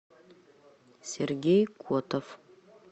сергей котов